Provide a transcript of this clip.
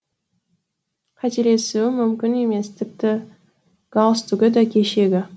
қателесуім мүмкін емес тіпті галстугы да кешегі